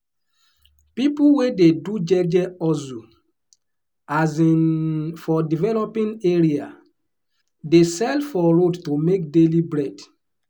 people wey dey do jeje hustle um for developing area dey sell for road to make daily bread.